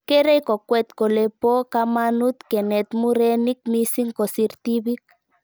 Kerei kokwet kole po kamanut kenet murenik mising' kosir tipik